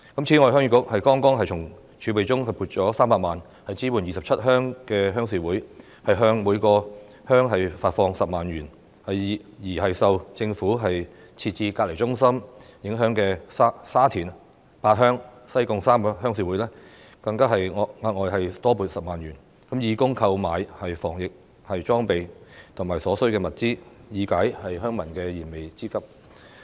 此外，鄉議局剛從儲備中撥出300萬元支援27鄉的鄉事會，向各鄉發放10萬元，而受政府設置隔離中心影響的沙田八鄉、西貢3個鄉事會更獲額外撥款10萬元，以供購買防疫裝備和所需物資，以解鄉民的燃眉之急。